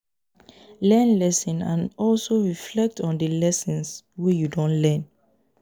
learn lesson and also reflect on di lessons wey you don learn